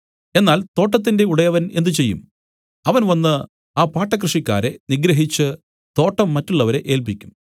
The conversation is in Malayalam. എന്നാൽ തോട്ടത്തിന്റെ ഉടയവൻ എന്ത് ചെയ്യും അവൻ വന്നു ആ പാട്ടക്കൃഷിക്കാരെ നിഗ്രഹിച്ച് തോട്ടം മറ്റുള്ളവരെ ഏല്പിക്കും